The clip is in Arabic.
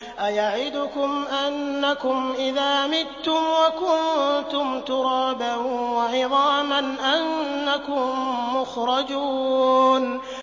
أَيَعِدُكُمْ أَنَّكُمْ إِذَا مِتُّمْ وَكُنتُمْ تُرَابًا وَعِظَامًا أَنَّكُم مُّخْرَجُونَ